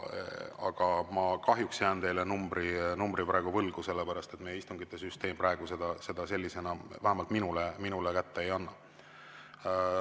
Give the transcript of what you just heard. Aga ma kahjuks jään teile numbri praegu võlgu, sellepärast et meie istungisüsteem seda sellisena vähemalt mulle ei.